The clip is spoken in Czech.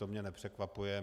To mě nepřekvapuje.